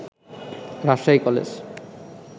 Rajshahi college